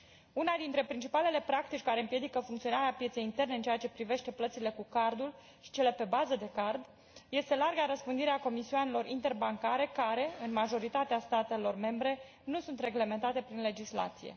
Una dintre principalele practici care împiedică funcționarea pieței interne în ceea ce privește plățile cu cardul și cele pe bază de card este larga răspândire a comisioanelor interbancare care, în majoritatea statelor membre, nu sunt reglementate prin legislație.